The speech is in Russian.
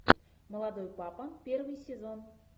молодой папа первый сезон